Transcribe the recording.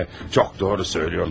Çox doğru söyləyirsən.